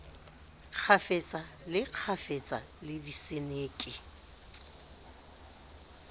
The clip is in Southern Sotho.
kgafetsa le kgafetsa le diseneke